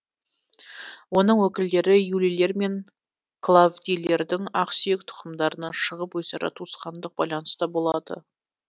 оның өкілдері юлийлер мен клавдийлердің ақсүйек тұқымдарынан шығып өзара туысқандық байланыста болды